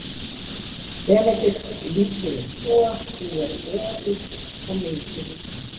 Benedikt lýsir þeim svo: Við vorum örir og mikið var talað.